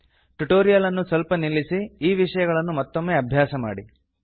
tutorial ಅನ್ನು ಸ್ವಲ್ಪ ನಿಲ್ಲಿಸಿ ಈ ವಿಷಯಗಳನ್ನು ಮತ್ತೊಮ್ಮೆ ಅಭ್ಯಾಸ ಮಾಡಿ